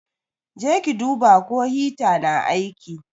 Je ki duba ko hita na aiki.